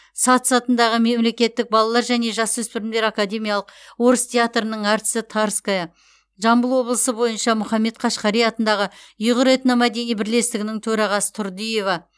сац сатындағы мемлекеттік балалар және жасөспірімдер академиялық орыс театрының әртісі тарская жамбыл облысы бойынша махмұд қашғари атындағы ұйғыр этномәдени бірлестігінің төрағасы турдыева